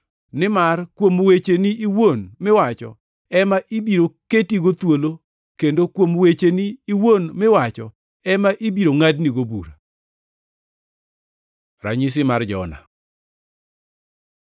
Nimar kuom wecheni iwuon miwacho ema ibiro ketigo thuolo kendo kuom wecheni iwuon miwacho ema ibiro ngʼadonigo bura.” Ranyisi mar Jona